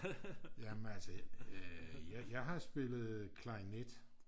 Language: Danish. jamen altså jeg har spillet klarinet